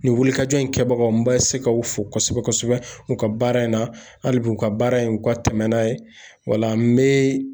Nin wulikajɔ in kɛbagaw n ma se ka u fo kosɛbɛ kosɛbɛ u ka baara in na hali bi u ka baara in u ka tɛmɛ n'a ye o la n bɛ